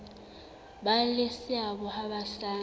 ba le seabo ha basadi